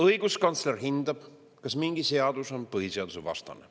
Õiguskantsler hindab, kas mingi seadus on põhiseadusvastane.